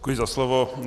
Děkuji za slovo.